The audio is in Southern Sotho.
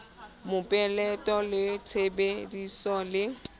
mopeleto le tshebe diso e